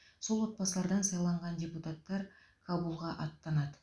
сол отбасылардан сайланған депутаттар кабулға аттанады